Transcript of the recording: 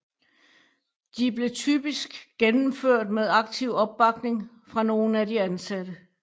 De blev typisk gennemført med aktiv opbakning fra nogen af de ansatte